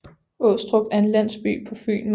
Åstrup er en landsby på Fyn med